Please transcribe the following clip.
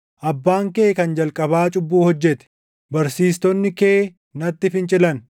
Abbaan kee kan jalqabaa cubbuu hojjete; barsiistonni kee natti fincilan.